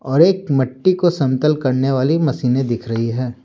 और एक मिट्टी को समतल करने वाली मशीनें दिख रही है।